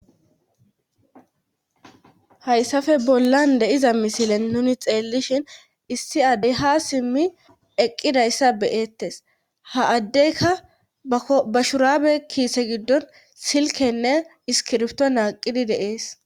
hayssafe bollan deiza misilen nuni xeellishin issi addey ha simmi eqqidayssa beyettes ha addeyka bashurabe kiise giddon silkenne iskirfto naaqidi deees